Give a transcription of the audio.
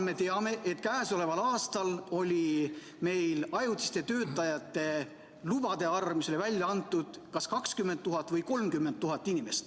Me teame, et käesoleval aastal oli meil ajutise töötamise lube välja antud kas 20 000 või 30 000.